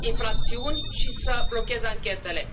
infracțiuni și să blocheze anchetele.